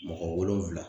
Mɔgɔ wolonfila